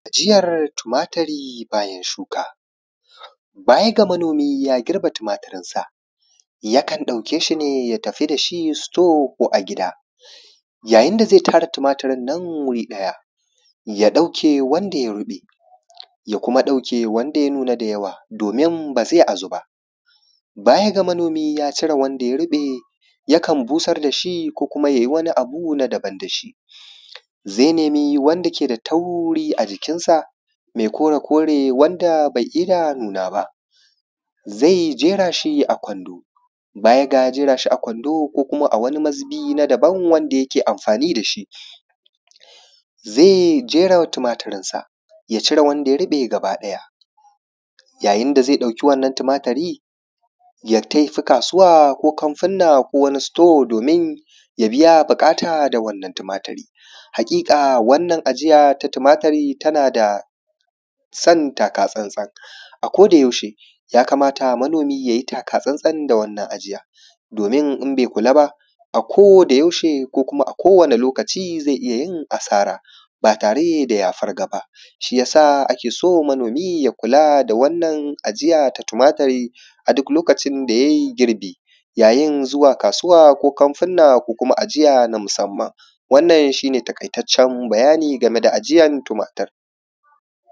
ajiyar tumaturi bayan shuka baya ga manomi ya girbe tumaturinsa, yakan ɗauke shi ne ya tafi da shi sito ko a gida, yayin da ze tara tumaturin nan guri ɗaya, ya ɗauke wanda ya ruɓe ya kuma ɗauke wanda ya nuna da yawa, domin ba zai ajuba bayan ga manomi, ya cire wanda ya ruɓe, yakan busar da shi ko kuma yai wani abu na da:ban da shi ze nemi wanda ke da tauri a jikinsa me kore-kore wanda be ida nuna ba, zai jera shi a kwando baya da ya jera shi a kwando ko kuma a wani mazubi na daban wanda yake amfani da shi, ze je ya tumaturinsa ya cire wanda ya ruɓe gabaɗaya, yayin da ze ɗauke wannan tumaturin yai tafi kasuwa ko kanfunna ko wani sito domin ya biya buƙata da wannan tumaturi, haƙiƙa wannan ajiya ta tumaturi tana son takatsantsan ako da yaushe, ya kamata manomi ya yi takatsan san da shi wannan ajiya domin in be kula ba akodayaushe ko kuma akowani lokuta ze iya yin asara ba tare da ya farga ba, shi yasa ake so manomi ya kula da wannan ajiya ta tumaturi a duk lokin da yai girbi, yayin zuwa kasuwa ko kanfunna ko kuma ajiya na musamman. Wannan shi ne taƙaitaccen bayani game da ajiya ta tumaturi.